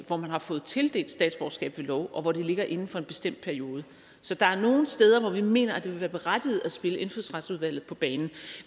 hvor man har fået tildelt statsborgerskab ved lov og hvor det ligger inden for en bestemt periode så der er nogle steder hvor vi mener at det vil være berettiget at spille indfødsretsudvalget på banen